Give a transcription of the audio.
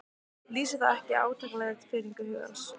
Lýsir það ekki átakanlegri firringu hugans?